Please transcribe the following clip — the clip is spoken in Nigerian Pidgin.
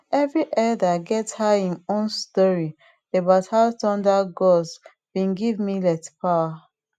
every elder get how em own story about how thunder gods been give millet power